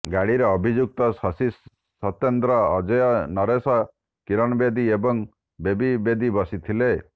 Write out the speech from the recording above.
ଗାଡ଼ିରେ ଅଭିଯୁକ୍ତ ଶଶି ସତ୍ୟେନ୍ଦ୍ର ଅଜୟ ନରେଶ କୀରଣ ଦେବୀ ଏବଂ ବେବୀ ଦେବୀ ବସିଥିଲେ